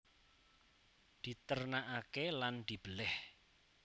Diternakaké lan dibelèh